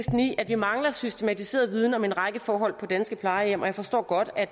at vi mangler systematiseret viden om en række forhold på danske plejehjem og jeg forstår godt at